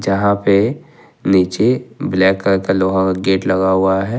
यहां पे नीचे ब्लैक कलर का लोहा का गेट लगा हुआ है।